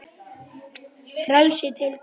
Frelsi til hvers?